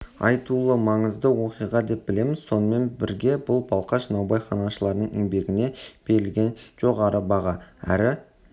айтулы маңызды оқиға деп білеміз сонымен бірге бұл балқаш наубайханашыларының еңбегіне берілген жоғары баға әрі